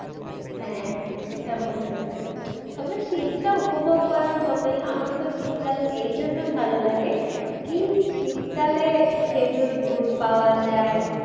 হ্যাঁ সেটা বলতে পারেন তবে শীতটা উপভোগ করার মতোই আমার তো শীতকাল এই জন্য ভালো লাগে কি শীতকালে খেঁজুর গুড় পাওয়া যায়